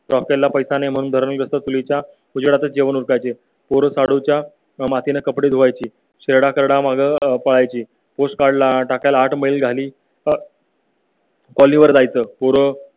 Trophy ला पैसा नाही म्हणून उजेडात जेवणं उरकायची पोरं शाडूच्या मातीने कपडे धुवायची माग पाळायची पोस्ट कार्ड टाकायला आठ मैल झाली . पॉलीवर जायचं